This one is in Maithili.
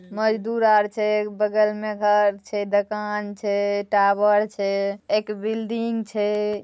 मजदूर आर छै बगल मे घर छै दोकान छै टावर छै एक बिल्डिंग छै।